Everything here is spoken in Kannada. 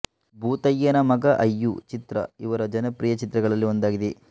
ಭೂತಯ್ಯನ ಮಗ ಅಯ್ಯು ಚಿತ್ರ ಇವರ ಜನಪ್ರಿಯ ಚಿತ್ರಗಳಲ್ಲಿ ಒಂದಾಗಿದೆ